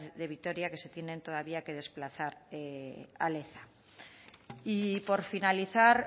de vitoria que se tienen que todavía desplazar a leza y por finalizar